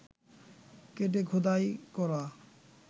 কেটে খোদাই করা